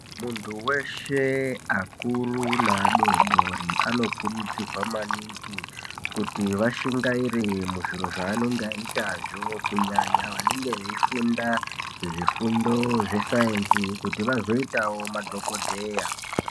Muntu veshe akuru naadodori anokurudzirwa maningi kuti vashingaire muzviro zvanenge aiitazvo. Kunyanya vanenge vaifunda zvifundo zvesaenzi kuti vazoitavo madhogodheya.